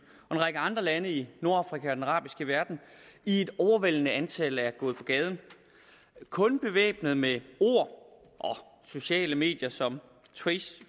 og en række andre lande i nordafrika og den arabiske verden i et overvældende antal er gået på gaden kun bevæbnet med ord og sociale medier som